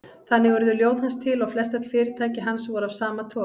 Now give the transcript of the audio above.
Þannig urðu ljóð hans til og flestöll fyrirtæki hans voru af sama toga.